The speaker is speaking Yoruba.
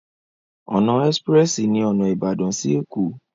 Ọ̀nà ẹ́sprẹ́sì ní ọ̀nà Ìbàdàn sí Ẹ̀kó.